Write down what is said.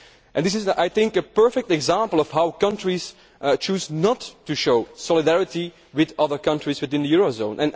This is a perfect example of how countries choose not to show solidarity with other countries within the eurozone.